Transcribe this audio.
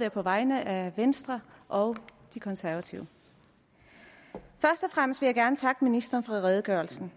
være på vegne af både venstre og de konservative først og fremmest vil jeg gerne takke ministeren for redegørelsen